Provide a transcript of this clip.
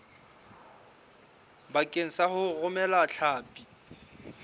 bakeng sa ho romela hlapi